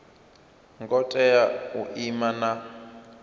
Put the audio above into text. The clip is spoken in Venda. ngo tea u ima na